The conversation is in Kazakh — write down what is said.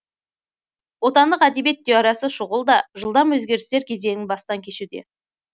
отандық әдебиет теориясы шұғыл да жылдам өзгерістер кезеңін бастан кешуде